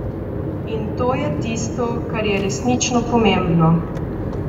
In to je tisto, kar je resnično pomembno.